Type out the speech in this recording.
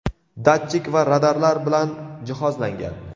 datchik va radarlar bilan jihozlangan.